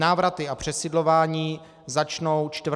Návraty a přesídlování začnou 4. dubna.